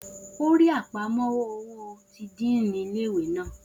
O rí àpamọ́wọ́ owó ti díìnì ilé ìwé naa